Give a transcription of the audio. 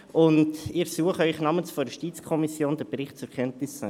Ich ersuche Sie namens der JuKo, den Bericht zur Kenntnis zu nehmen.